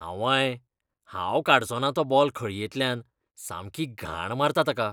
आंवंय, हांव काडचोना तो बॉल खळयेंतल्यान. सामकी घाण मारता ताका.